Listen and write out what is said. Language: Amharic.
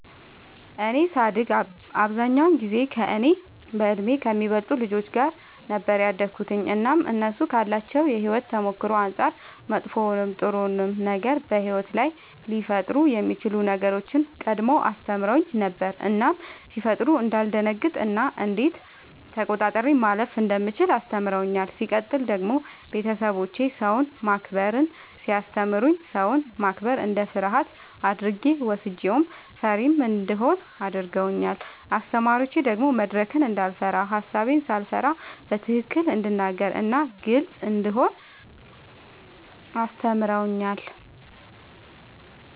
እኔ ሳድግ አብዛኛውን ጊዜ ከእኔ በእድሜ ከሚበልጡ ልጆች ጋር ነበር ያደግሁትኝ እናም እነሱ ካላቸው የሕይወት ተሞክሮ አንጻር መጥፎውንም ጥሩውንም ነገር በሕይወት ላይ ሊፈጠሩ የሚችሉ ነገሮችን ቀድመው አስተምረውኝ ነበር እናም ሲፈጠሩ እንዳልደነግጥ እና እንዴት ተቆጣጥሬ ማለፍ እንደምችል አስተምረውኛል። ሲቀጥል ደግሞ ቤተሰቦቼ ሰውን ማክበርን ሲያስተምሩኝ ሰውን ማክበር እንደ ፍርሃት አድርጌ ወስጄው ፈሪም እንደሆን አድርገውኛል። አስተማሪዎቼ ደግሞ መድረክን እንዳይፈራ ሐሳቤን ሳልፈራ በትክክል እንድናገር እናም ግልጽ እንደሆን አስተምረውኛል።